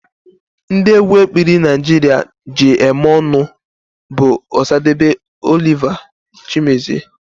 Ndị egwu ekpili Naijiria ji eme ọnụ bụ osadebe, Oliver, chimezie